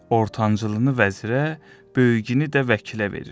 Ortancılını vəzirə, böyüyünü də vəkilə verir.